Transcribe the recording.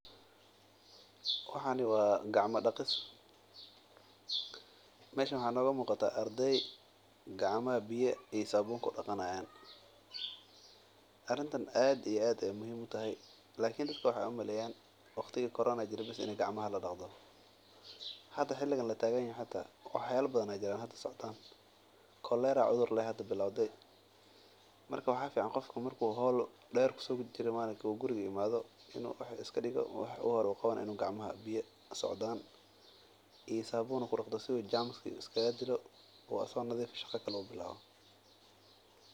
Waxani waa gacma daqis waxaa nooga muuqda ardey gacmaha biya iyo sabuun ku daqani haayan dadka waxeey umaleyana in waqtigi corona bes gacmaha laadaqan jire lakin ilaawhada waa la daqda.